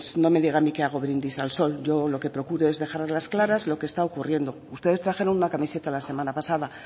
no me diga a mí que hago brindis al sol yo lo que procuro es dejar a las claras lo que está ocurriendo ustedes trajeron una camiseta la semana pasada